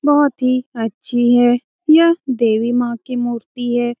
बहुत ही अच्छी है यह देवी माँ की मूर्ति है।